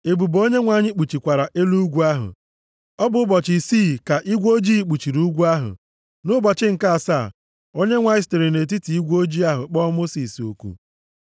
ebube Onyenwe anyị kpuchikwara elu ugwu ahụ. Ọ bụ ụbọchị isii ka igwe ojii kpuchiri ugwu ahụ. Nʼụbọchị nke asaa, Onyenwe anyị sitere nʼetiti igwe ojii ahụ kpọọ Mosis oku.